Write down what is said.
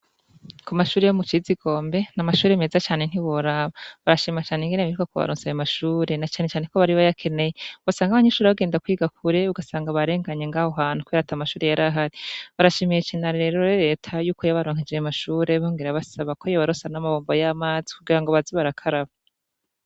Kumashure yo mucitsikombe namashure meza cane ntiworaba barashima cane ingene bigoye cane mukubaronsa ayo mashure na cane cane ko bari bayakeneye wosanga abanyeshure bagenda kwiga kure usanga barenganye ngaho hantu kubera atamashure yarahari barashimiye cane rero reta ko yabaronkeje cane ayo mashure yongera abasaba ko yobaronsa namabombo yamazi kugira boze barakaraba